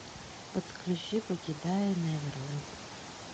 подключи покидая неверленд